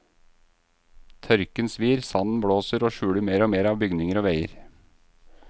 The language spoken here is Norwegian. Tørken svir, sanden blåser og skjuler mer og mer av bygninger og veier.